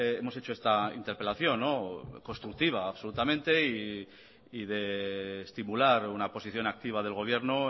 hemos hecho esta interpelación constructiva absolutamente y de estimular una posición activa del gobierno